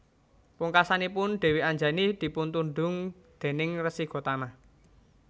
Pungkasanipun Dèwi Anjani dipuntundhung déning Resi Gotama